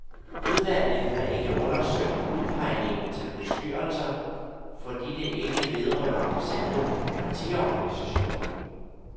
Udvalget har ikke undersøgt udpegningen til bestyrelser, fordi det ikke vedrører selve partiorganisationen.